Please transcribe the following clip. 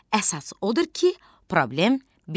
Əsas odur ki, problem bitir.